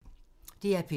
DR P2